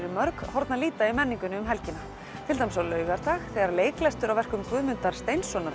í mörg horn að líta í menningunni um helgina til dæmis á laugardag þegar verk Guðmundar Steinssonar